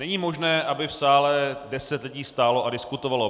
Není možné, aby v sále deset lidí stálo a diskutovalo.